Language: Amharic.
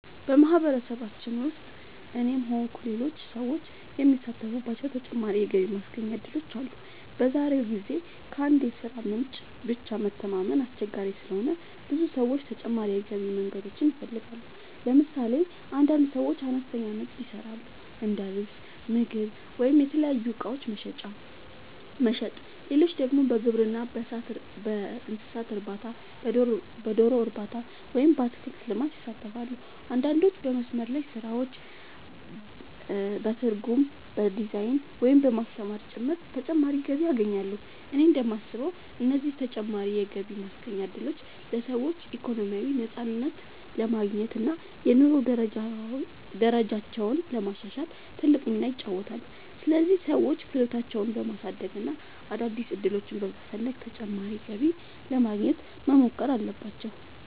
በማህበረሰባችን ውስጥ እኔም ሆንኩ ሌሎች ሰዎች የሚሳተፉባቸው ተጨማሪ የገቢ ማስገኛ እድሎች አሉ። በዛሬው ጊዜ ከአንድ የሥራ ምንጭ ብቻ መተማመን አስቸጋሪ ስለሆነ ብዙ ሰዎች ተጨማሪ የገቢ መንገዶችን ይፈልጋሉ። ለምሳሌ አንዳንድ ሰዎች አነስተኛ ንግድ ይሰራሉ፤ እንደ ልብስ፣ ምግብ ወይም የተለያዩ እቃዎች መሸጥ። ሌሎች ደግሞ በግብርና፣ በእንስሳት እርባታ፣ በዶሮ እርባታ ወይም በአትክልት ልማት ይሳተፋሉ። አንዳንዶች በመስመር ላይ ስራዎች፣ በትርጉም፣ በዲዛይን፣ ወይም በማስተማር ጭምር ተጨማሪ ገቢ ያገኛሉ። እኔ እንደማስበው እነዚህ ተጨማሪ የገቢ ማስገኛ እድሎች ለሰዎች ኢኮኖሚያዊ ነፃነት ለማግኘት እና የኑሮ ደረጃቸውን ለማሻሻል ትልቅ ሚና ይጫወታሉ። ስለዚህ ሰዎች ክህሎታቸውን በማሳደግ እና አዳዲስ ዕድሎችን በመፈለግ ተጨማሪ ገቢ ለማግኘት መሞከር አለባቸው።